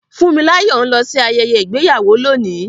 Funmilayo ń lọ sí ayẹyẹ ìgbéyàwó lónìí.